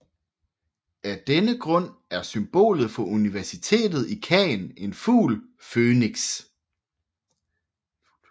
Af denne grund er symbolet for universitetet i Caen en fugl fønix